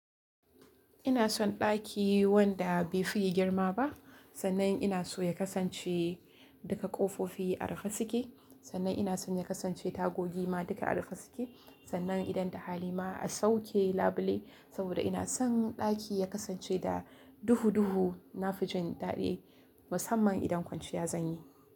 Ina son ɗaki wanda bai fi girma ba, sannan ina so ya kasance duka ƙofofi a rufe suke, sannan ina son ya kasance tagogi ma duka a rufe suke, sannan idan ta hali ma a sauke labule saboda ina son ɗaki ya kasance da duhu duhu na fijin daɗi musamman idan kwanciya zan yi.